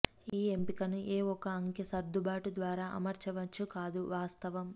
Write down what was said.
ఈ ఎంపికను ఏ ఒక అంకె సర్దుబాటు ద్వారా అమర్చవచ్చు కాదు వాస్తవం